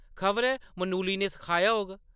खबरै मनुली ने सखाया होग ।